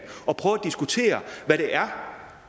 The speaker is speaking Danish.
og prøver at diskutere hvad det er